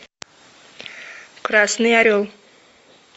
красный орел